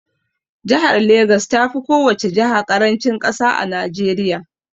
Jahar Legas tafi kowace jaha ƙarancin ƙasa a Najeriya